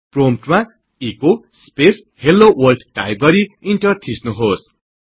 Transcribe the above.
प्रोम्पटमा echo space hello world type गरि enter थिच्नुहोस्